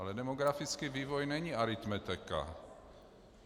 Ale demografický vývoj není aritmetika.